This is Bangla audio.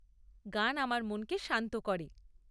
গান আমার মনকে শান্ত করে।